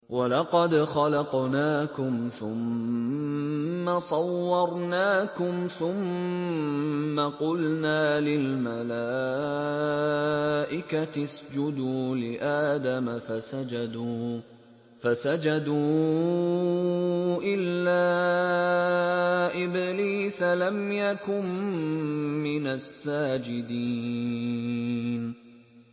وَلَقَدْ خَلَقْنَاكُمْ ثُمَّ صَوَّرْنَاكُمْ ثُمَّ قُلْنَا لِلْمَلَائِكَةِ اسْجُدُوا لِآدَمَ فَسَجَدُوا إِلَّا إِبْلِيسَ لَمْ يَكُن مِّنَ السَّاجِدِينَ